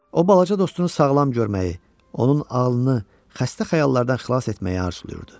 O balaca dostunu sağlam görməyi, onun ağlını xəstə xəyallardan xilas etməyi arzulayırdı.